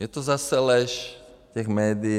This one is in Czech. Je to zase lež těch médií.